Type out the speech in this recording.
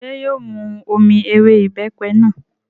Ṣé yóò mu omi ewé ìbẹ́pẹ náà?